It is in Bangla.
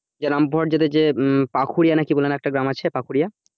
রামপুরহাট যেতে যে পাকহুড়িয়া নাকি কি বলে একটা গ্রাম আছে পাকুড়িয়া